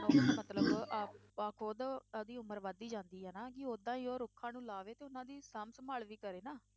ਮਤਲਬ ਆਪਾਂ ਖੁੱਦ ਅਹ ਦੀ ਉਮਰ ਵੱਧਦੀ ਜਾਂਦੀ ਆ, ਕਿ ਓਦਾਂ ਹੀ ਉਹ ਰੁੱਖਾਂ ਨੂੰ ਲਾਵੇ ਤੇ ਉਹਨਾਂ ਦੀ ਸਾਂਭ ਸੰਭਾਲ ਵੀ ਕਰੇ ਨਾ,